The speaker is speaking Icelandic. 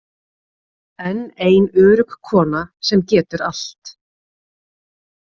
Enn ein örugg kona sem getur allt.